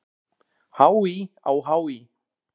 HÍ á HÍ!